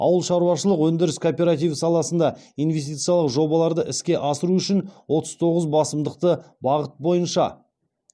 ауыл шаруашылық өндіріс кооперативі саласында инвестициялау жобаларды іске асыру үшін отыз тоғыз басымдықты бағыт бойынша